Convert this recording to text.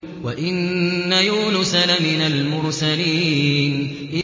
وَإِنَّ يُونُسَ لَمِنَ الْمُرْسَلِينَ